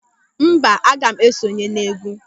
Mba, aga m esonye n'égwú.